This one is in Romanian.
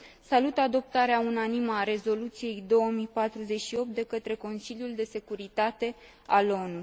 Salut adoptarea unanimă a Rezoluției 2048 de către Consiliul de securitate al ONU.